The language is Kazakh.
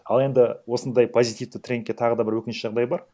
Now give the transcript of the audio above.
ал енді осындай позитивті трендке тағы да бір өкініш жағдай бар